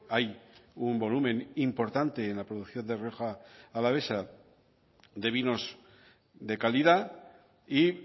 hay un volumen importante en la producción de rioja alavesa de vinos de calidad y